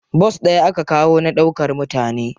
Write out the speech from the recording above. Bas ɗaya aka kawo na ɗaukar mutane.